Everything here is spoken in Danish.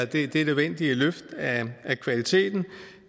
det det nødvendige løft af af kvaliteten